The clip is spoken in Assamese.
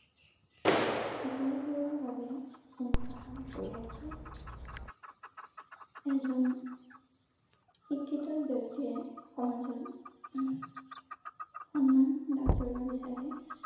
সকলোবোৰৰ বাবে অনুশাসন অপৰিহাৰ্য এজন শিক্ষিত ব্যক্তিয়ে সমাজত হম সন্মান লাভ কৰিব বিচাৰে।